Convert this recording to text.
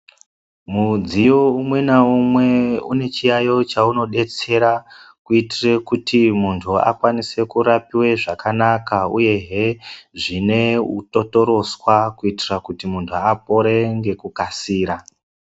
Mudziyo umwe naumwe unechiyaiyo chaunobetsera kuitire kuti muntu akwanise kurapive zvakanaka, uyehe zvine utotoroswa kuitira kuti muntu apore ngekukasira.